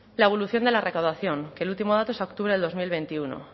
la evolución de la recaudación que el último dato es a octubre del dos mil veintiuno